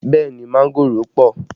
Bẹẹ ni, mángòrò pọ